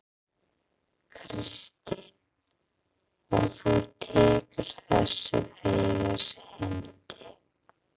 Kristín: Og þú tekur þessu fegins hendi?